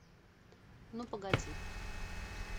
ну погоди